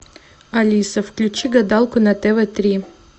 алиса включи гадалку на тв три